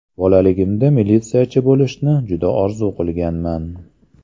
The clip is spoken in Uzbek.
Bolaligimda militsiyachi bo‘lishni juda orzu qilganman.